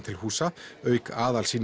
til húsa auk